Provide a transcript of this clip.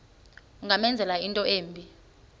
ungamenzela into embi